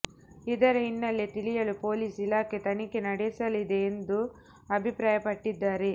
ಇದರ ಹಿನ್ನೆಲೆ ತಿಳಿಯಲು ಪೊಲೀಸ್ ಇಲಾಖೆ ತನಿಖೆ ನಡೆಸಲಿದೆ ಎಂದು ಅಭಿಪ್ರಾಯಪಟ್ಟಿದ್ದಾರೆ